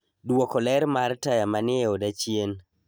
Duoko ler mar taya manie oda chien